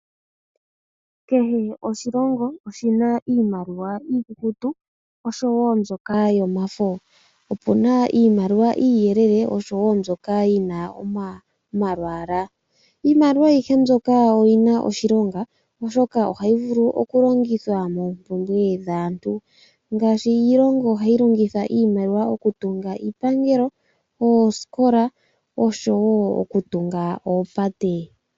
Kehe oshilongo oshina iimaliwa iikukutu oshowo mbyoka yomafo. Opuna iimaliwa iiyelele oshowo mbyoka yina omalwaala, iimaliwa ayihe mbyoka oyina oshilonga oshoka ohayi vulu okulongithwa moompumbwe dhaantu. Ngaashi iilongo ohayi longitha iimaliwa okutunga iipangelo, oosikola oshowo okutunga oopate.